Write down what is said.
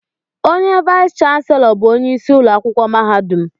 Onye vais chanselọ bụ onye isi ụlọakwụkwọ mahadum